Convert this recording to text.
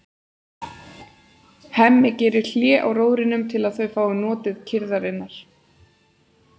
Hemmi gerir hlé á róðrinum til að þau fái notið kyrrðarinnar.